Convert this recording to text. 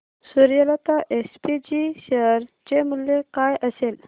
Suryalata SPG share चे मूल्य काय असेल